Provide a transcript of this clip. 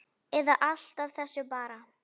Eða allt af þessu bara?